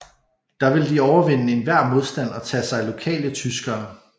Der ville de overvinde enhver modstand og tage sig af lokale tyskere